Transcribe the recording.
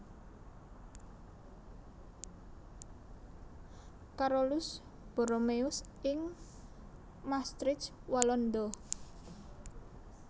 Carolus Borromeus ing Maastricht Walanda